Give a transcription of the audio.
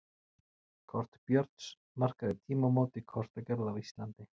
Kort Björns markaði tímamót í kortagerð á Íslandi.